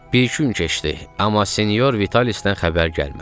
Bir-iki gün keçdi, amma Sinyor Vitalisdən xəbər gəlmədi.